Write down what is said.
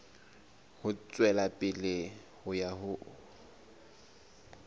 ho tswela pele ho ya